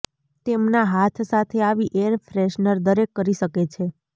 તેમના હાથ સાથે આવી એર ફ્રેશનર દરેક કરી શકે છે